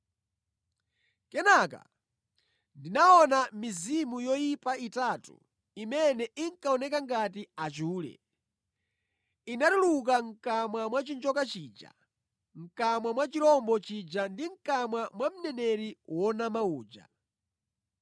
Kenaka ndinaona mizimu yoyipa itatu imene inkaoneka ngati achule; inatuluka mʼkamwa mwa chinjoka chija, mʼkamwa mwa chirombo chija ndi mʼkamwa mwa mneneri wonyenga uja.